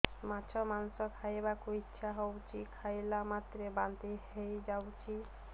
ମାଛ ମାଂସ ଖାଇ ବାକୁ ଇଚ୍ଛା ହଉଛି ଖାଇଲା ମାତ୍ରକେ ବାନ୍ତି ହେଇଯାଉଛି